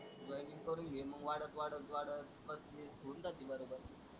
Joining करून घे मग वाढत वाढत वाढत पस्तीस होऊन जाती बरोबर.